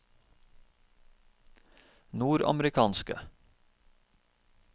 nordamerikanske